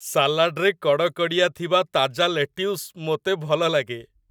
ସାଲାଡ଼ରେ କଡ଼କଡ଼ିଆ ଥିବା ତାଜା ଲେଟ୍ୟୁସ ମୋତେ ଭଲଲାଗେ।